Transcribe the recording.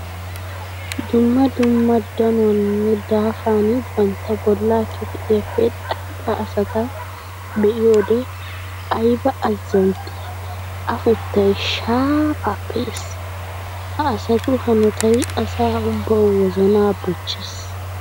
Dumma dumma danuwaninne daafanni bantta bolla kifilayappe xayidda asata be'iyodde aybba azantti afuttay shayappe yeesi! Ha asattu hanottay asaa ubbawu wozana bochchees!